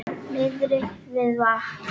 Niðri við vatn?